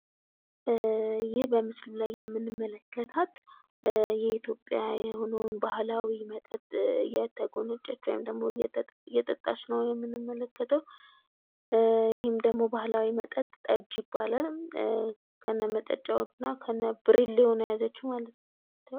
ይህ በምስሉ ላይ የምንመለከታት የኢትዮጵያ የሆነውን ባህላዊ መጠጥ እየተጎነጨች ወይም ደግሞ እየጠጣች ነው የምንመለከተው ይህም ደግሞ ባህላዊ መጠጥ ጠጅ ይባላል። ከነመጠጫውና ከነብርሌው ነው የያዘችው ማለት ነው።